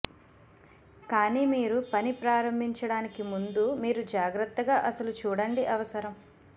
కానీ మీరు పని ప్రారంభించడానికి ముందు మీరు జాగ్రత్తగా అసలు చూడండి అవసరం